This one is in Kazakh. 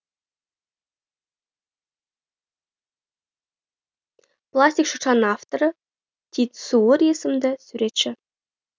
пластик шыршаның авторы тит суур есімді суретші